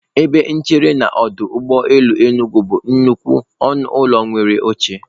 Ebe nchere na n'ọdọ ụgbọelu Enugwu bụ nnukwu ọnụ ụlọ nwere oche.